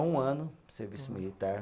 Um ano, serviço militar.